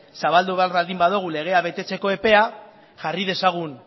zabaldu behar baldin badugu legea betetzeko epea jarri dezagun